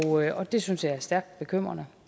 og det synes jeg er stærkt bekymrende